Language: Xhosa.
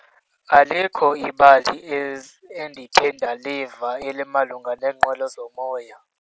Alikho ibali endikhe ndaliva elimalunga neenqwelo zomoya.